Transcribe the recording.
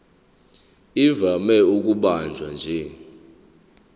ivame ukubanjwa nje